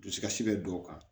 Dusukasi bɛ dɔw kan